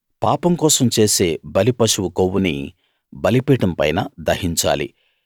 పాపం కోసం చేసే బలి పశువు కొవ్వుని బలిపీఠం పైన దహించాలి